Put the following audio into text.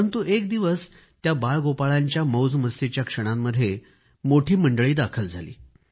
परंतु एक दिवस त्या बाळगोपाळांच्या मौजमस्तीच्या क्षणांमध्ये मोठी मंडळी दाखल झाली